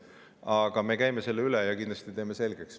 Aga me käime selle üle ja kindlasti teeme selgeks.